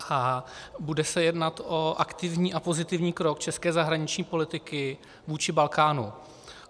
A bude se jednat o aktivní a pozitivní krok české zahraniční politiky vůči Balkánu.